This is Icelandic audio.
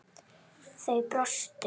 Þau brostu.